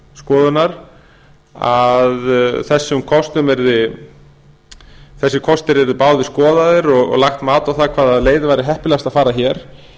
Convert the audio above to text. skoðunar að þessir kostir yrðu báðir skoðaðir og lagt mat á það hvaða leið yrði heppilegast að fara hér